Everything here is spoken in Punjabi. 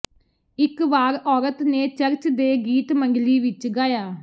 ਇਕ ਵਾਰ ਔਰਤ ਨੇ ਚਰਚ ਦੇ ਗੀਤ ਮੰਡਲੀ ਵਿਚ ਗਾਇਆ